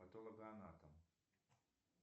патологоанатом